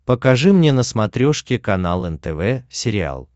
покажи мне на смотрешке канал нтв сериал